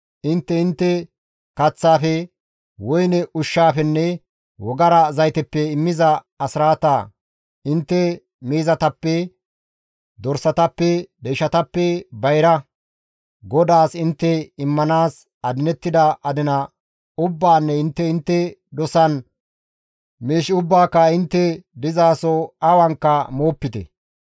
Intte intte kaththaafe, woyne ushshaafenne wogara zayteppe immiza asraata, intte miizatappe, dorsatappe, deyshatappe bayra, GODAAS intte immanaas adinettida adina ubbaanne intte intte dosan miish ubbaaka intte dizaso awanka moopite.